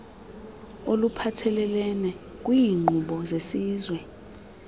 oluphathelelene kwiinkqubo zesizwe